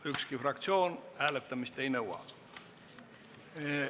Ükski fraktsioon hääletamist ei nõua.